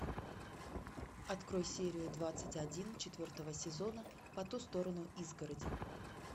открой серию двадцать один четвертого сезона по ту сторону изгороди